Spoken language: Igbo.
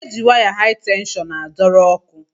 E ji waya hai tenshọn a dọrọ ọkụ.